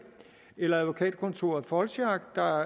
eller advokatkontoret foldschack der